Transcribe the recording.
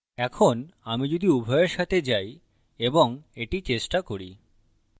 এখন আমি যদি উভয়ের সাথে যাই এবং এটি চেষ্টা করি